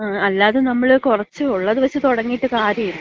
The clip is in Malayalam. ങും, അല്ലാതെ നമ്മള് കൊറച്ച് ഒള്ളത് വച്ച് തൊടങ്ങിയിട്ട് കാര്യല്ല.